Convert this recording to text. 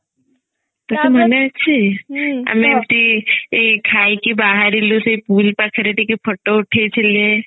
ତତେ ମନେ ଅଛି ଆମେ ଏମତି ଏଇ ଖାଇ କି ବାହାରିଲୁ ସେଇ ପୁରୀ ପାଖରେ ଟିକେ photo ଉଠେଇ ଥିଲେ